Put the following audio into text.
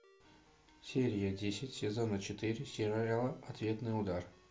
серия десять сезона четыре сериала ответный удар